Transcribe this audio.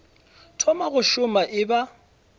thoma go šoma e ba